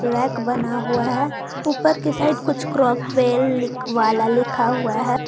Rack बना हुआ है ऊपर के साइड कुछ क्रॉकवेल वाला लिखा हुआ है।